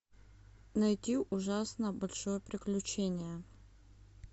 найти ужасно большое приключение